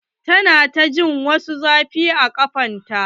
Ta na ta jin wasu zafi a kafan ta.